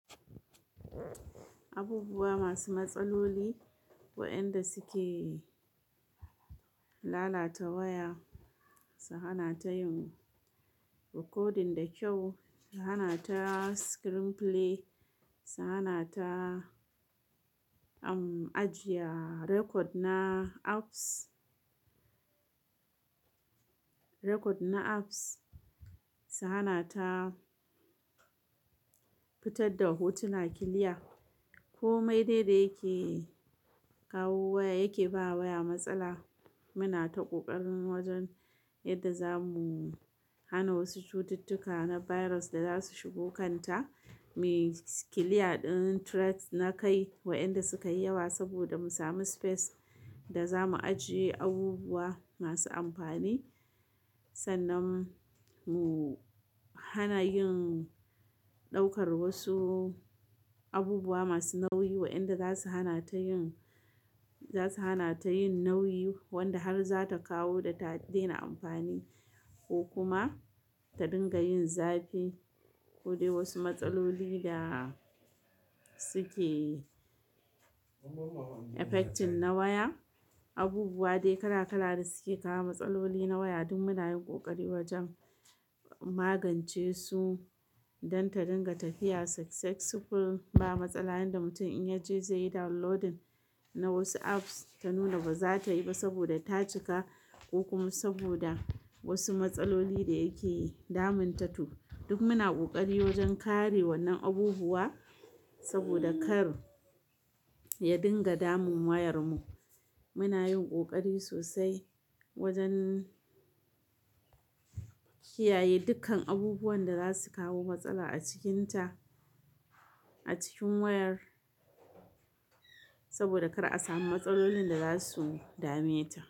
Abubuwa masu matsaloli wayanda suke lalata waya su lalace yanzu recording da kyau ki hanata screen playing ki hanata ajiye record na apps record na apps, su hana ta fitar da hotuna clear. Komai dai da yake kawo waya yake ba waya matsala. Muna ta ƙoƙarin wajen yadda za mu hana wasu cututtuka na virus da za su shigo kanta. Muyi clear ɗin threat na kai wa inda suka yi yawa saboda mu sami space da za mu ajiye abubuwa masu amfani. Sannan mu hana yin ɗaukar wasu abubuwa masu nauyi waɗanda za su hana ta yin, za su hana ta yin nauyi wanda har za ta kawo da ta daina amfani ko kuma ta dinga yin zafi ko dai wasu matsaloli da suke affecting na waya. Abubuwa dai kala kala da suke kawo matsaloli na waya duk muna yin ƙoƙari wajen magance su don ta dinga tafiya successful ba matsala. Yanda mutum in ya je zai yi downloading na wasu apps ta nuna ba za ta yi ba saboda ta cika ko kuma saboda wasu matsaloli da yake damun ta to. Duk muna ƙoƙari wajen kare wannan abubuwa saboda kar ya dinga damun wayar mu muna yin ƙoƙari sosai wajen kiyaye dukkan abubuwan da zasu kawo matsala a cikin ta a cikin wayar saboda kar a samu matsalolin da zasu dameta.